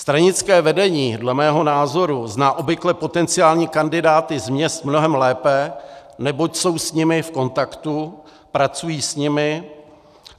Stranické vedení dle mého názoru zná obvykle potenciální kandidáty z měst mnohem lépe, neboť jsou s nimi v kontaktu, pracují s nimi.